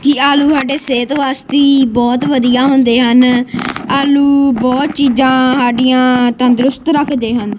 ਜੀ ਆਲੂ ਸਾਡੀ ਸਿਹਤ ਵਾਸਤੇ ਬਹੁਤ ਵਧੀਆ ਹੁੰਦੇ ਹਨ ਆਲੂ ਬਹੁਤ ਚੀਜ਼ਾਂ ਸਾਡੀਆਂ ਤੰਦਰੁਸਤ ਰੱਖਦੇ ਹਨ।